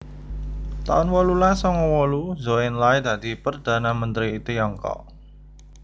taun wolulas sanga wolu Zhou Enlai dadi Perdhana Mentri Tiongkok